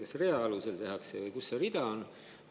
Kas seda tehakse rea alusel või kus see rida on?